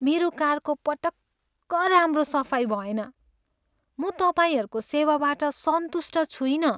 मेरो कारको पटक्क राम्रो सफाइ भएन। म तपाईँहरूको सेवासँग सन्तुष्ट छुइनँ।